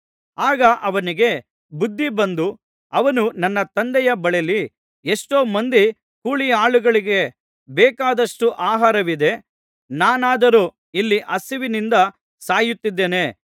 ಆಗ ಅವನಿಗೆ ಬುದ್ಧಿಬಂದು ಅವನು ನನ್ನ ತಂದೆಯ ಬಳಿಯಲ್ಲಿ ಎಷ್ಟೋ ಮಂದಿ ಕೂಲಿಯಾಳುಗಳಿಗೆ ಬೇಕಾದಷ್ಟು ಆಹಾರವಿದೆ ನಾನಾದರೋ ಇಲ್ಲಿ ಹಸಿವಿನಿಂದ ಸಾಯುತ್ತಿದ್ದೇನೆ